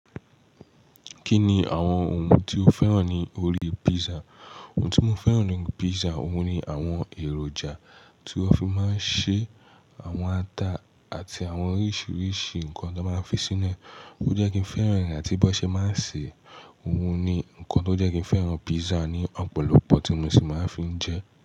Kí ni àwọn ohun tí o fẹ́ràn ní orí pizza? Ohun tí mo fẹ́ràn ní orí pizza, òun ni àwọn èròjà tí wọ́n fi máa ń ṣe àwọn ata àti àwọn oríṣiríṣi nǹkan tó máa fi sínú ẹ̀. Ó jẹ́ kí n fẹ́ràn ẹ̀, àti bí ó ṣe máa ń ṣe, òun ni nǹkan tó jẹ́ kí n fẹ́ràn pizza ní ọ̀pọ̀lọpọ̀ tí mo sì máa ń fi jẹ ẹ́.